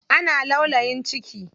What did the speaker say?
Ana laulayin ciki.